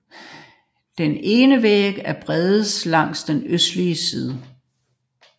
Den indre væg er bredest langs den østlige side